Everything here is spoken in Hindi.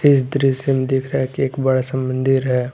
इस दृश्य में दिख रहा है एक बड़ा सा मंदिर है।